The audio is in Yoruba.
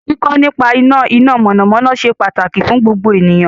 Kíkọ́ nípa iná iná mọ̀nàmọ́ná ṣe pàtàkì fún gbogbo ènìyàn